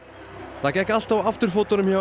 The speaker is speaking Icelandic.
það gekk allt á afturfótunum hjá